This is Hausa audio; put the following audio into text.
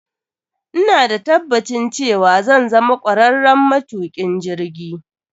Ina da tabbacin cewa zan zama kwararren matukin jirgi.